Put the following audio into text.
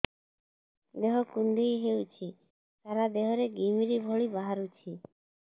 ଦେହ କୁଣ୍ଡେଇ ହେଉଛି ସାରା ଦେହ ରେ ଘିମିରି ଭଳି ବାହାରୁଛି